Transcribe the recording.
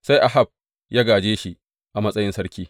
Sai Ahab ya gāje shi a matsayin sarki.